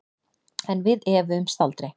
En við efuðumst aldrei.